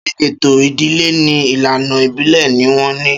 Ṣé ètò ìdílé ní ìlànà ìbílè ni wọn ní?